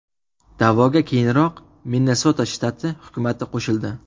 Da’voga, keyinroq Minnesota shtati hukumati qo‘shildi.